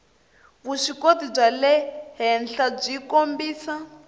vuswikoti bya le henhlabyi kombisa